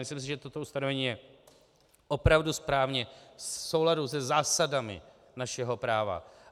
Myslím si, že toto ustanovení je opravdu správně v souladu se zásadami našeho práva.